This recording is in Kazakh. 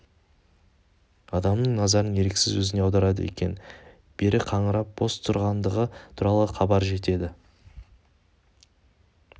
адамның назарын еріксіз өзіне аударады екен бері қаңырап бос тұрғандығы туралы хабар жетеді